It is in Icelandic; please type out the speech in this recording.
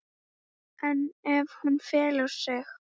En ef hún felur sig?